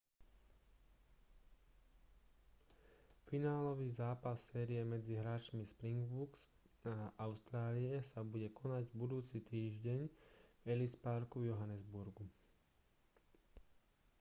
finálový zápas série medzi hráčmi springboks a austrálie sa bude konať budúci týždeň v ellis parku v johannesburgu